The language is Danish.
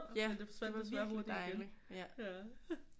Ja det var virkelig dejligt